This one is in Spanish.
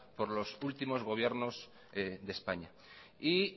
por los últimos gobiernos de españa y